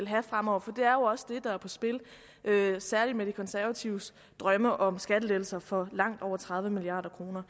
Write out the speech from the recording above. have frem over for det er jo også det der er på spil særlig med de konservatives drømme om skattelettelser for langt over tredive milliard kroner